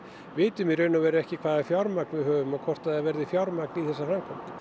vitum í raun og veru ekki hvaða fjármagn við höfum og hvort það verði fjármagn í þessa framkvæmd